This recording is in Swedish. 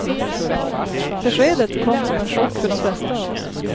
Beskedet kom som en chock för de flesta av oss.